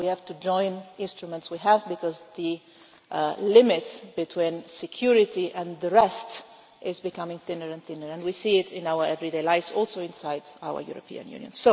Mars. We have to join the instruments we have because the limits between security and the rest is becoming thinner and thinner and we see it in our everyday lives, including inside our European Union.